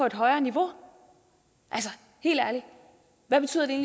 et højere niveau altså helt ærligt hvad betyder det